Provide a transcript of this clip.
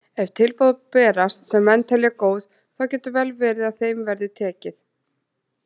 Ef tilboð berast sem menn telja góð þá getur vel verið að þeim verði tekið.